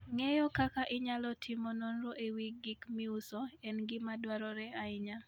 Ng'eyo kaka inyalo timo nonro e wi gik miuso en gima dwarore ahinya.